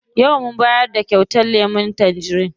Yau mun bayar da kyautar lemun tangerin.